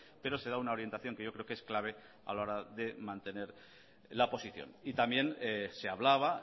pero se da una orientación que yo creo que es clave a la hora de mantener la posición y también se hablaba